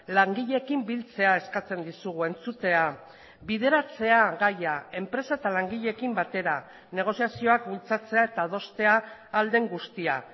langileekin biltzea eskatzen dizugu entzutea bideratzea gaia enpresa eta langileekin batera negoziazioak bultzatzea eta adostea ahal den guztia